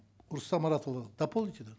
рұстам мұратұлы дополните да